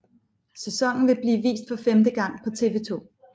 Sæsonen vil blive vist for femte gang på TV 2